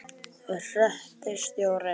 Hreppstjórinn brosti svolítið og bauð þeim sæti.